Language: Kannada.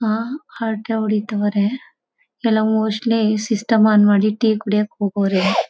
ಹಾ ಹರಟೆ ಹೊಡಿತಾವ್ರೆ ಎಲ್ಲ ಮೋಸ್ಟ್ಲಿ ಸಿಸ್ಟಮ್ ಆನ್ ಮಾಡಿ ಟೀ ಕುಡೀಯಕ್ಕೆ ಹೋಗವ್ರೆ .